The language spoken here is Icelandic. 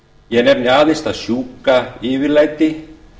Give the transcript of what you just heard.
ég nefni aðeins það sjúka yfirlæti